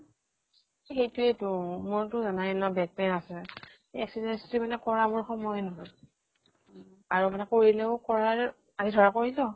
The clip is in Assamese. সেইতোয়েটো মোৰতো জানাই ন back pain আছে। exercise যে মানে কৰা মোৰ সময়ে নহয়। আৰু মানে কৰিলেও কৰাৰ, আজি ধৰা কৰিলো